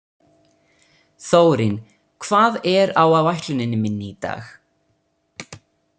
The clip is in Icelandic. Þórinn, hvað er á áætluninni minni í dag?